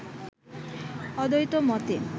অদ্বৈত মতে